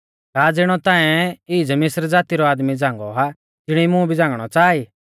का ज़िणौ ताऐं ईज़ मिस्र ज़ाती रौ आदमी झ़ांगौ आ तिणी मुं भी झ़ांगणौ च़ाहा ई